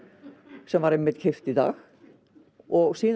sem var einmitt keypt í dag og síðan